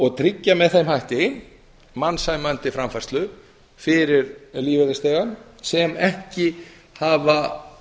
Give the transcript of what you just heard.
og tryggja með þeim hætti mannsæmandi framfærslu fyrir lífeyrisþegar sem ekki hafa